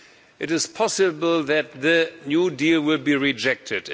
It is possible that the new deal will be rejected.